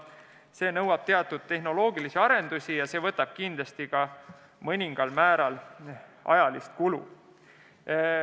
Selle muutmine nõuab teatud tehnoloogilisi arendusi ja kindlasti ka mõningal määral ajalist kulu.